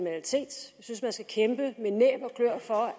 synes man skal kæmpe med næb